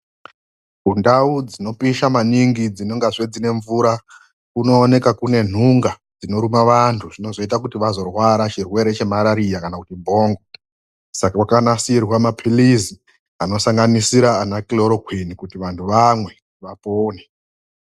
Mundau dzinopisha maningi dzinenge dzinezve mvura kunoonekwa zve kuine nhunga dzinoruma vanhu dzinoita kuti vazorwara chirwere chemarariakana kuti bhongo saka kwakanasirwe mapilisi anosanganisira vana kiroroqini kuti vandu vamwe vapone.